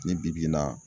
Ni bi-bi in na